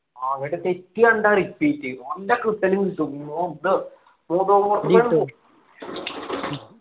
അവിടെ തെറ്റ് കണ്ടാ repeat നല്ല കിട്ടല് കിട്ടും